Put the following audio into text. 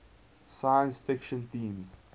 science fiction themes